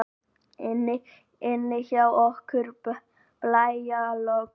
Inni hjá okkur er blæjalogn.